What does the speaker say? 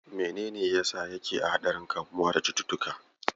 Menene yasa yake a haɗarin kamuwa da cututtuka?